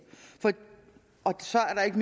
og så er der ikke